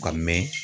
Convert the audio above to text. Ka mɛn